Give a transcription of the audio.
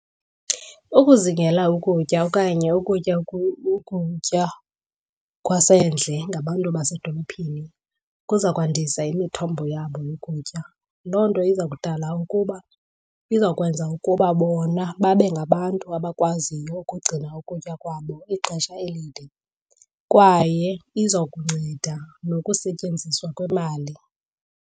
Ukuzingela ukutya okanye ukutya ukutya kwasendle ngabantu basedolophini kuza kwandisa imithombo yabo yokutya. Loo nto iza kudala kuba, izawukwenza ukuba bona babe ngabantu abakwaziyo ukugcina ukutya kwabo ixesha elide kwaye iza kunceda nokusetyenziswa kwemali.